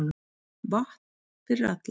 Vatn fyrir alla